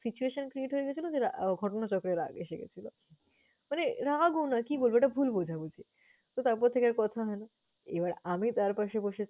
situation create হয়ে গেছিল যে ঘটনাচক্রে রাগ এসে গেছিল। মানে রাগও না, কি বলবো, এটা ভুল বোঝাবুঝি। তো তারপর থেকে আর কথা হয় না, এবার আমি তার পাশে বসেছি